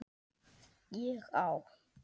ÉG Á